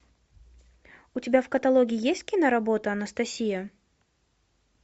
у тебя в каталоге есть киноработа анастасия